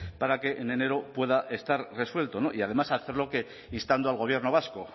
para que en enero pueda estar resuelto no y además hacerlo instando al gobierno vasco